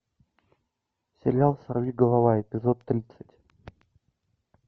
сериал сорвиголова эпизод тридцать